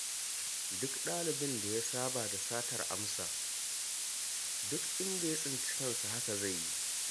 Duk ɗalibin da ya saba da satar amsa, duk inda ya sami kansa haka zai yi.